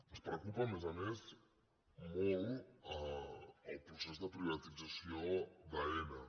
ens preocupa a més a més molt el procés de privatització d’aena